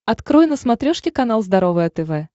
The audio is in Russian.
открой на смотрешке канал здоровое тв